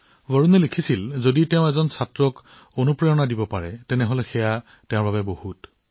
বৰুণে লিখিছিল যে যদি তেওঁ এজন শিক্ষাৰ্থীক অনুপ্ৰাণিত কৰিব পাৰে তেন্তে ই যথেষ্ট হব